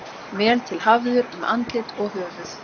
Vel til hafður um andlit og höfuð.